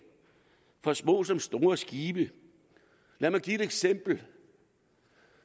for små som store skibe lad mig give et eksempel